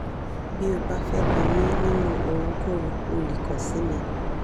bí o bá fẹ́ bi mí nínú ohunkóhun o lè kan si mí